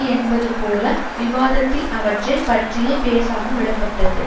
என்பதுபோல விவாதத்ததில் அவற்றை பற்றியே பேசாமல் விடப்பட்டது